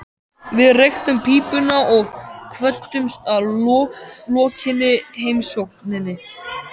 Við reyktum pípuna og kvöddumst að lokinni heimsókninni.